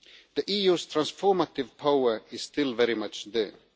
The EU's transformative power is still very much there.